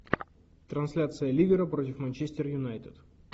трансляция ливера против манчестер юнайтед